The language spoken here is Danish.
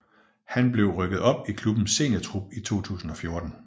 Han blev rykket op i klubbens seniortrup i 2014